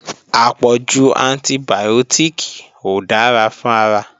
Àpọ̀jù antibìọ́tìkì ò dára fún ara